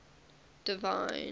divine